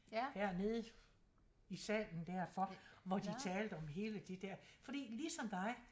Ja nede i salen dér for hvor de talte om hele de dér fordi ligesom dig